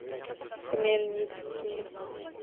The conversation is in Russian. хмельницкий